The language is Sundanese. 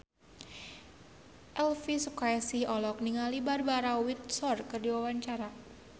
Elvy Sukaesih olohok ningali Barbara Windsor keur diwawancara